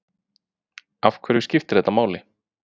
Af hverju skiptir þetta allt máli?